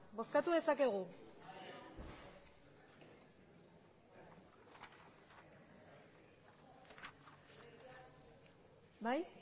bozkatu dezakegu bai